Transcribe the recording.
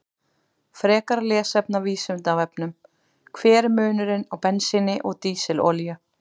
Frekara lesefni af Vísindavefnum: Hver er munurinn á bensíni og dísilolíu?